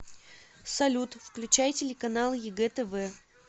салют включай телеканал егэ тв